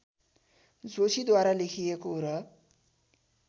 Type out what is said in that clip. जोशीद्वारा लेखिएको र